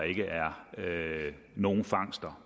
ikke er nogen fangster